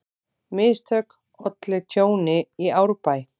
Mistök ollu tjóni í Árbæ